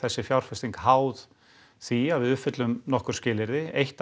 þessi fjárfesting háð því að við uppfyllum nokkur skilyrði eitt